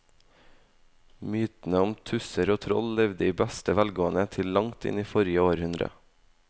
Mytene om tusser og troll levde i beste velgående til langt inn i forrige århundre.